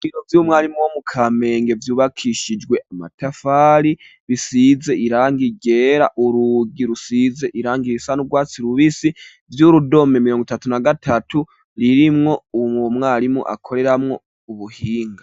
Ibiro vy'umwarimu wo mu kamenge ,vyubakishijwe amatafari, bisize irangi ryera ,urugi rusize irangi isa n'urwatsi rubisi ,vy'urudome mimiringo itatu na gatatu ririmwo mwarimu akoreramwo ubuhinga.